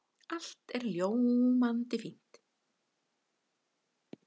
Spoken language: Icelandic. Allt er ljómandi fínt.